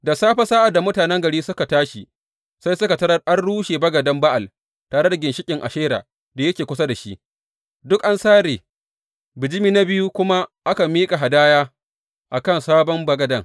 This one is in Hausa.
Da safe sa’ad da mutanen garin suka tashi, sai suka tarar an rushe bagaden Ba’al, tare da ginshiƙin Ashera da yake kusa da shi, duk an sare, bijimi na biyu kuma aka miƙa hadaya a kan sabon bagaden!